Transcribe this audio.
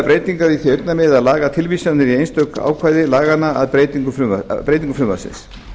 breytingar í því augnamiði að laga tilvísanir í einstökum ákvæðum laganna að breytingum frumvarpsins